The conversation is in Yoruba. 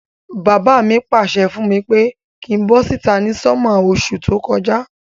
Bàbá mi pàsẹ fùn mi pe kin bo síta ni summer osú to kojá